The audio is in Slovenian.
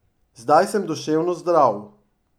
Zdaj sem duševno zdrav.